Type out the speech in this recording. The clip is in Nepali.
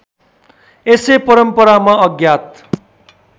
यसै परम्परामा अज्ञात